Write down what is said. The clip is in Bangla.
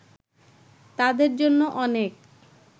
তাদের জন্য অনেক